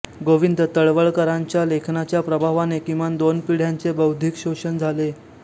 गोविंद तळवळकरांच्या लेखनाच्या प्रभावाने किमान दोन पिढ्यांचे बौद्धिक पोषण झाले